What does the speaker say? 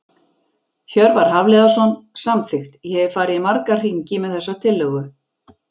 Hjörvar Hafliðason- Samþykkt Ég hef farið í marga hringi með þessa tillögu.